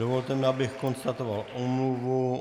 Dovolte mi, abych konstatoval omluvu.